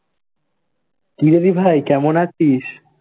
কি রে দিভাই, কেমন আছিস?